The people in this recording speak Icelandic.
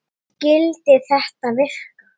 En skyldi þetta virka?